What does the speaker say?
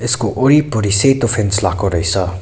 यसको वरिपरि सेतो फेन्स लाको रहेछ।